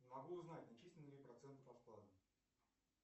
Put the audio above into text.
не могу узнать начислены ли проценты по вкладу